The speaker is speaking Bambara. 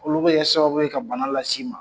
Olu bɛ kɛ sababu ye ka bana lase i ma.